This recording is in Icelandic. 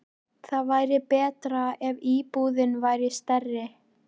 Það væri betra ef íbúðin væri stærri.